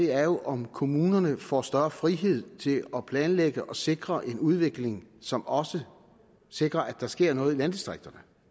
er jo om kommunerne får større frihed til at planlægge og sikre en udvikling som også sikrer at der sker noget i landdistrikterne